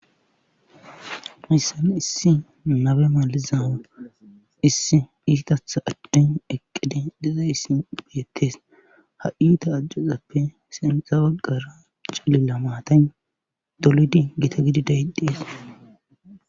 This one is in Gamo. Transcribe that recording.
Missan issi nabe maliza issi isitatha addin eqqide deza isi beettes ha7iyuta ajjozappe senxa waggara calila maatan dolidi gita gidi dayiqdhees